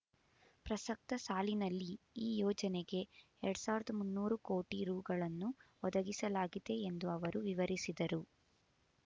ಪ್ರಸಕ್ತ ಸಾಲಿನಲ್ಲಿ ಈ ಯೋಜನೆಗೆ ಎರಡ್ ಸಾವಿರದ ಮುನ್ನೂರು ಕೋಟಿ ರೂ ಗಳನ್ನು ಒದಗಿಸಲಾಗಿದೆ ಎಂದು ಅವರು ವಿವರಿಸಿದರು